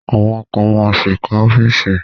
Àwọn kan ma ṣì kọ́ ọ́fíìsì